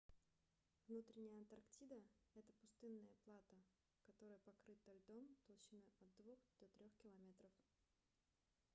внутренняя антарктида это пустынное плато которое покрыто льдом толщиной от 2 до 3 км